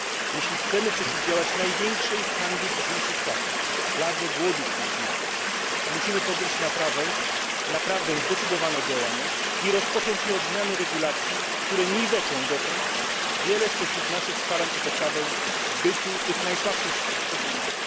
Jeśli chcemy przeciwdziałać największej hańbie dzisiejszych czasów pladze głodu wśród dzieci musimy podjąć naprawdę zdecydowane działania i rozpocząć je od zmiany regulacji, które niweczą dotąd wiele spośród naszych starań o poprawę bytu tych najsłabszych spośród nas.